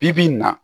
Bi bi in na